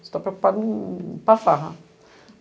Você está preocupado em em ir para a farra.